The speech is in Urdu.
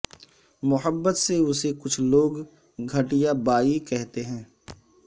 محبت سے اسے کچھ لوگ گٹھیا بائی کہتے ہیں